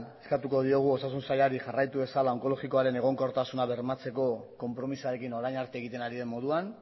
eskatuko diegu osasun sailari jarraitu dezala onkologikoaren egonkortasuna bermatzeko konpromisoarekin orain arte egiten ari den moduan